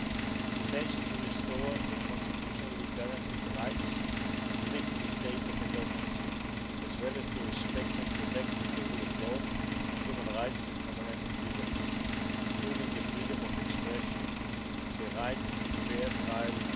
It is essential to restore constitutionally guaranteed rights and lift the state of emergency, as well as to respect and protect the rule of law, human rights and fundamental freedoms, including the freedom of expression and the right to fair